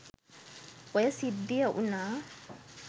ඔය සිද්ධිය වුණා.